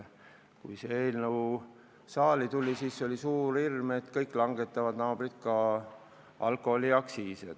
Kui see eelnõu saali tuli, siis oli suur hirm, et kõik naabrid langetavad ka alkoholiaktsiisi.